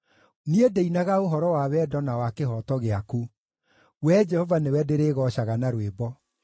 Niĩ ndĩinaga ũhoro wa wendo na wa kĩhooto gĩaku; Wee Jehova nĩwe ndĩrĩgoocaga na rwĩmbo.